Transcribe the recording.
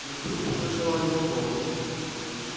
и вдруг услышала его голос